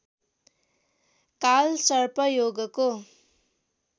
कालसर्प योगको